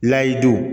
Lahadu